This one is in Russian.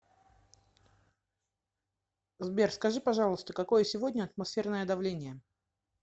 сбер скажи пожалуйста какое сегодня атмосферное давление